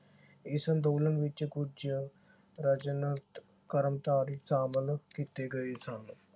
ਇਸ ਅੰਦੋਲਨ ਵਿਚ ਕੁਝ ਕਰਮਚਾਰੀ ਸ਼ਾਮਲ ਕੀਤੇ ਗਏ ਸਨ।